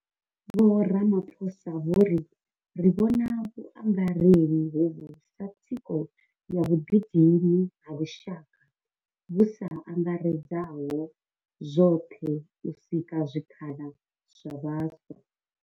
Vho Ramaphosa vho ri, Ri vhona vhurangeli hovhu sa thikho ya vhuḓidini ha lushaka vhu sa angaredzaho zwoṱhe u sika zwikhala zwa vhaswa.